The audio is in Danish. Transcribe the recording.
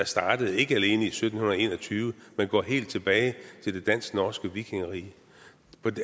startede i sytten en og tyve men som går helt tilbage til det dansk norske vikingerige